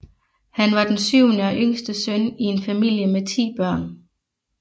Han var den syvende og yngste søn i en familie med ti børn